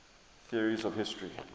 theories of history